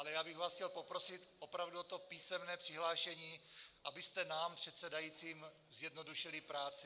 Ale já bych vás chtěl poprosit opravdu o to písemné přihlášení, abyste nám předsedajícím zjednodušili práci.